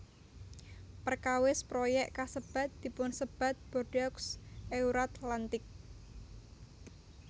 Perkawis proyék kasebat dipunsebat Bordeaux Euratlantique